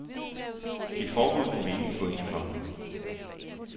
Et forbud kan vi ikke gå ind for.